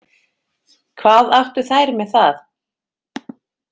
Hvað áttu þær með það?